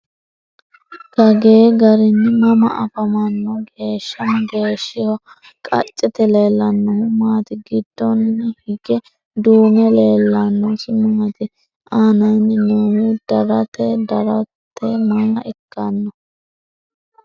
Kagee garinni mama afammanno? Geesha mageeshshiho? Qacette leellanohu maati? Giddonni hige duu'me leelannosi maatti? aannaanni noohu daratte daratteho maa ikkanno?